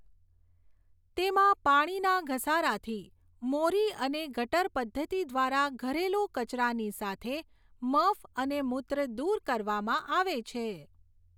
તેમાં પાણીના ઘસારાથી મોરી અને ગટર પદ્ધતિ દ્વારા ઘરેલું કચરાની સાથે મફ અને મૂત્ર દૂર કરવામાં આવે છે.